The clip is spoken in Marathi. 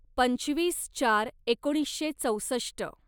पंचवीस चार एकोणीसशे चौसष्ट